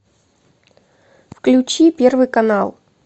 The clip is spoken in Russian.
включи первый канал